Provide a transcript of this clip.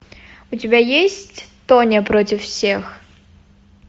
у тебя есть тоня против всех